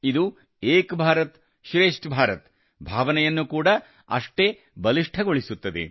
ಇದು ಏಕ್ ಭಾರತ್ ಶ್ರೇಷ್ಠ್ ಭಾರತ್ ಭಾವನೆಯನ್ನು ಕೂಡಾ ಅಷ್ಟೇ ಬಲಿಷ್ಠಗೊಳಿಸುತ್ತದೆ